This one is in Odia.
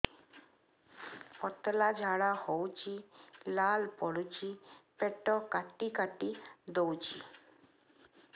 ପତଳା ଝାଡା ହଉଛି ଲାଳ ପଡୁଛି ପେଟ କାଟି କାଟି ଦଉଚି